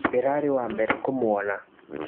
Ndĩrarĩ wa mbere kũmwona.